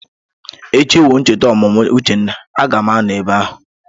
Echi wu ncheta ọmụmụ Uchenna, a ga m anọ ebe ahụ.